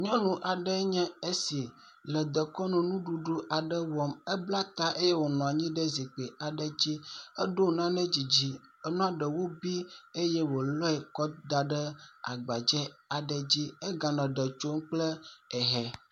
Nyɔnu aɖe nye esi le dekɔnu nuɖuɖu aɖe wɔm. Ebla ta eye wonɔ anyi ɖe zikpui aɖe dzi. Eɖo nane dzidzi enua ɖewo bi eye wolɔe kɔ da ɖe agbadze aɖe dzi eganɔ eɖe tsom kple ehɛ.